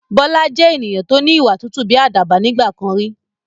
Bọlá jẹ́ ènìyàn to ni ìwà tútù bí àdàbà nígbàkan rí